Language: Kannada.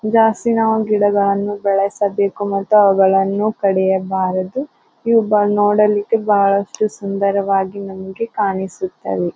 ಜಾಸ್ತಿ ನಾವು ಗಿಡಗಳನ್ನು ಬೆಳೆಸಬೇಕು ಮತ್ತು ಅವುಗಳನ್ನು ಕಡಿಯ ಬರಡು ಇವು ನೋಡಲಿಕ್ಕೆ ಬಹಳ ಸುಂದರ ವಾಗಿ ನಮಗೆ ಕಾಣಿಸುತ್ತದೆ.